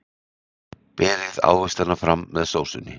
Berið ávextina fram með sósunni.